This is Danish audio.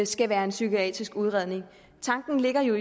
skal være en psykiatrisk udredning tanken ligger jo